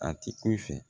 A ti ku i fɛ